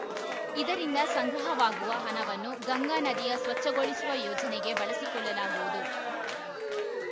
ಇದರಿಂದ ಸಂಗ್ರಹವಾಗುವ ಹಣವನ್ನು ಗಂಗಾ ನದಿಯ ಸ್ವಚ್ಛಗೊಳಿಸುವ ಯೋಜನೆಗೆ ಬಳಸಿಕೊಳ್ಳಲಾಗುವುದು